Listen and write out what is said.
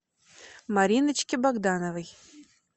мариночке богдановой